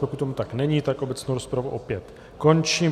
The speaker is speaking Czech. Pokud tomu tak není, tak obecnou rozpravu opět končím.